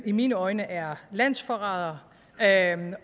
i mine øjne er landsforrædere